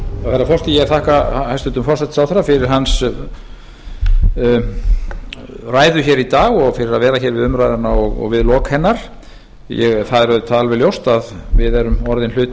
herra forseti ég þakka hæstvirtum forsætisráðherra fyrir hans ræðu hér í dag og fyrir að vera hér við umræðuna og við lok hennar það er auðvitað alveg ljóst að við erum orðinn hluti